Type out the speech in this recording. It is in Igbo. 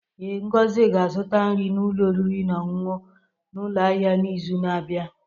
Ee, Ngozi ga-azụta nri n'ụlọ oriri na ọṅụṅụ n'ụlọ ahịa n'izu na-abịa.